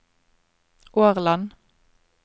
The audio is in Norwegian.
Årland